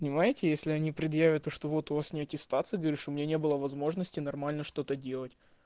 понимаете если они предъявят то что вот у вас неаттестация говоришь у меня не было возможности нормально что-то делать